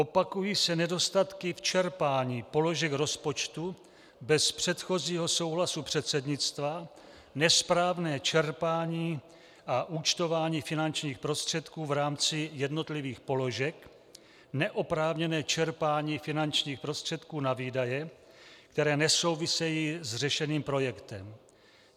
Opakují se nedostatky v čerpání položek rozpočtu bez předchozího souhlasu předsednictva, nesprávné čerpání a účtování finančních prostředků v rámci jednotlivých položek, neoprávněné čerpání finančních prostředků na výdaje, které nesouvisejí s řešeným projektem.